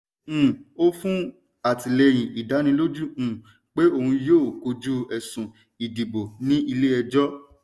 um ó fún alátilẹ́yin ìdánilójú um pé òun yóò kojú ẹ̀sùn ìdìbò ní ilé ẹjọ́.